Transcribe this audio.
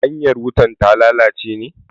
hanyar wutar ta lalace ne?